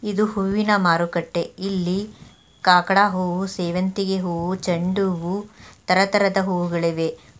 ಇದು ಹೂವಿನ ಮಾರುಕಟ್ಟ ಇಲ್ಲಿ ಕಾಕಡಾ ಹೂ ಸೇವಂತಿಗೆ ಹೂ ಜಂಡು ತರತರದ ಹೂವುಗಳಿವೆ.